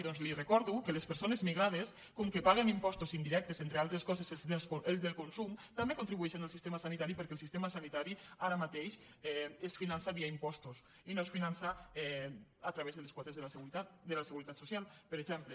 doncs li recordo que les persones migrades com que paguen impostos indirectes entre altres coses els del consum també contribueixen al sistema sanitari perquè el sistema sanitari ara mateix es finança via impostos i no es finança a través de les quotes de la seguretat social per exemple